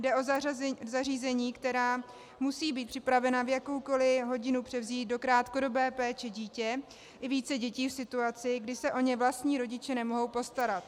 Jde o zařízení, která musí být připravena v jakoukoliv hodinu převzít do krátkodobé péče dítě, i více dětí v situaci, kdy se o ně vlastní rodiče nemohou postarat.